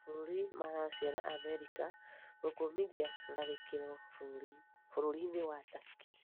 Mabũrũri ma Racia na Amerika gũkũmithia tharĩkiro bũrũri-inĩ wa Takĩ